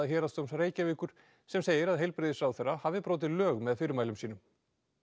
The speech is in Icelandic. Héraðsdóms Reykjavíkur sem segir að heilbrigðisráðherra hafi brotið lög með fyrirmælum sínum